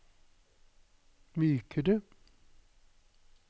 mykere